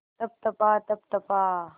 तप तपा तप तपा